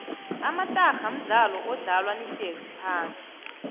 amatarha mdlalo odlalwa nihlezi phasi